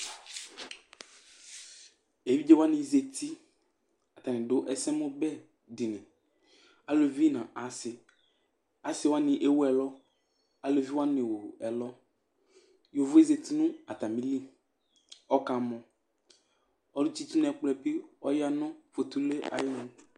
Evidzewa ni zati k'atani dù esemubɛdiní, aluvi nu asi Asiwani ewu ɛlu, aluviwani n'ewu ɛluYovóe zati nu atamili k'ɔka mɔ, ɔlu tsi itsu nu ɛkplɔɛ bi ya nu fotulúe ayi